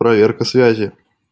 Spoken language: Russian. проверка связи